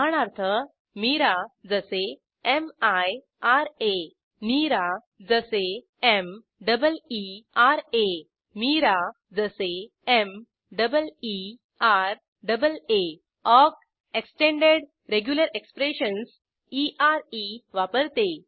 उदाहरणार्थ Mira जसे मिरा Meera जसे एम डबल ई रा Meeraa जसे एम डबल र डबल आ ऑक एक्सटेंडेड रेग्युलर एक्सप्रेशन्स वापरते